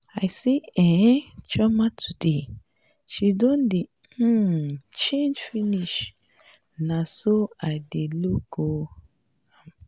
i see um chioma today. she don um change finish na so i just dey look um am.